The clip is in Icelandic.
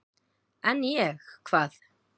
"""En ég, hvað?"""